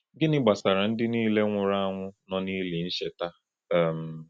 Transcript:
Gịnị gbasara ndị niile nwụrụ anwụ nọ n’ili ncheta? um